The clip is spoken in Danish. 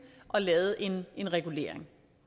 og lavet en regulering